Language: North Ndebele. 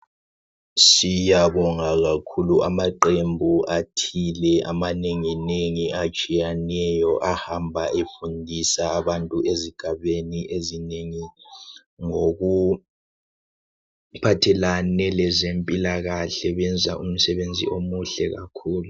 siyabonga kakhulu amaqembu athile amanenginengi atshiyaneyo ahamba efundisa abantu ezigabeni ezinengi ngokuphathelane lezempilakahle benza umsebenzi omuhle kakhulu